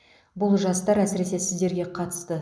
бұл жастар әсіресе сіздерге қатысты